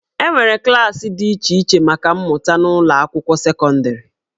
E nwere klaasị dị iche iche maka mmụta n'ụlọ akwụkwọ sekọndịrị